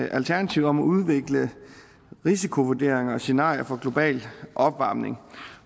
alternativet om at udvikle risikovurderinger og scenarier for global opvarmning